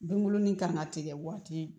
Binkurunin kan ka tigɛ waati